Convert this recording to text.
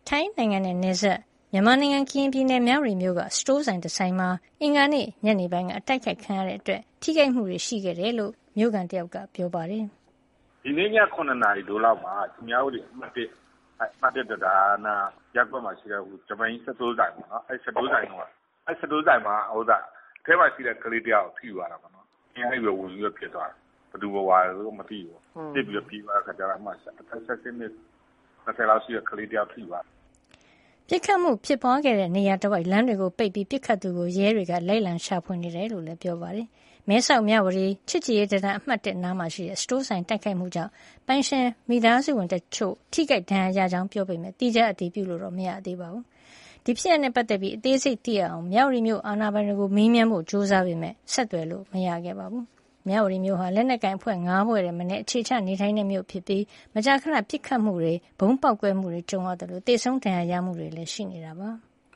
ထိုင်းနိုင်ငံနဲ့ နယ်စပ် မြန်မာနိုင်ငံ ၊ ကရင်ပြည်နယ်၊ မြဝတီမြို့က စတိုးဆိုင်တဆိုင်မှာ အင်္ဂါနေ့ ညနေပိုင်းက တိုက်ခိုက်ခံရတာကြောင့် ထိခိုက်မှုတွေ ရှိခဲ့ကြောင်း မြို့ခံတယောက်က ပြောပါတယ်။ " ဒီနေ့ည ၇နာရီ ထိုးလောက်မှာ မြဝတီတံတား အမှတ် ၁ နားက ရပ်ကွက်မှာရှိတဲ့ ဂျပန်ကြီးစတိုးဆိုင်မှာ အထဲမှာရှိတဲ့ ကလေးတယောက် ထိသွားတယ်။ အပြင်ကနေ ဝင်ပစ်သွားတယ်။ ဘယ်သူပစ်သွားလဲမသိဘူး ။ အထဲက အသက် ၁၈နှစ် ၂၀ အရွယ်ကလေးတဦးထိသွားတယ်" ပစ်ခတ်မူ ဖြစ်ပွားခဲ့တဲ့ နေရာတဝိုက် လမ်းတွေကိုပိတ်ပြီး ပစ်ခတ်သူကို ရဲတွေက လိုက်လံရှာဖွေနေတယ်လို့လည်း ပြောပါတယ်။ မဲဆောက် မြဝတီ ချစ်ကြည်ရေးတံတား အမှတ် ၁ အနီးမှာရှိတဲ့ စတိုးဆိုင် တိုက်ခိုက်မှုကြောင့် ပိုင်ရှင်မိသားစုဝင်တချို့ ထိခိုက်ဒဏ်ရာရခဲ့ကြောင်း ပြောပေမဲ့ သီးခြား အတည်ပြုလို့တော့ မရပါဘူး။ ဒီဖြစ်ရပ်နဲ့ ပတ်သက်ပြီး အသေးစိတ်သိရအောင် မြဝတီမြို့ အာဏာပိုင်တွေကို မေးမြန်းဖို့ ကြိုးစားပေမယ့် ဆက်သွယ်လို့ မရခဲ့ပါဘူး။ မြဝတီမြို့ဟာ လက်နက်ကိုင်အဖွဲ့၅ ဖွဲ့ထက်မနည်း အခြေချ နေထိုင်တဲ့ မြို့ဖြစ်ပြီး မကြာခဏ ပစ်ခတ်မှုတွေ၊ ဗုံးပေါက်ကွဲမှုတွေ ကြုံနေရသလို သေဆုံး ဒဏ်ရာရမှုတွေလည်း ရှိနေတာပါ။